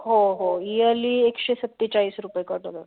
हो हो yearly एकशे सत्तेचाळीस रुपये cut होतात.